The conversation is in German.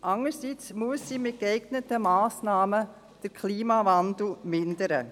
Andererseits muss die Landwirtschaft den Klimawandel mit geeigneten Massnahmen mindern.